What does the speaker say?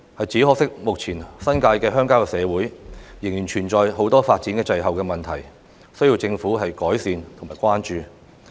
只可惜，目前新界的鄉郊社會仍然存在很多發展滯後的問題，需要政府改善及關注。